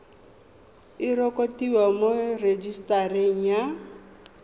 e rekotiwe mo rejisetareng ya